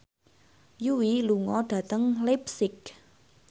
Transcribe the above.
Yui lunga dhateng leipzig